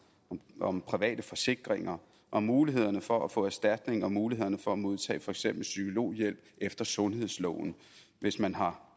om private forsikringer om mulighederne for at få erstatning og mulighederne for at modtage for eksempel psykologhjælp efter sundhedsloven hvis man har